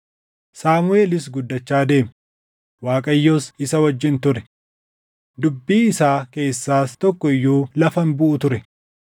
Saamuʼeel guddachaa deeme; Waaqayyos isa wajjin ture; dubbii isaa keessaas tokko iyyuu lafa hin buʼu ture.